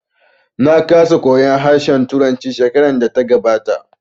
Na kasa koyan harshen turanci shekarar da ta gabata